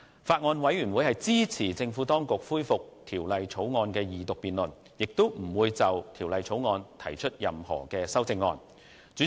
法案委員會支持政府當局恢復《條例草案》的二讀辯論，亦不會就《條例草案》提出任何修正案。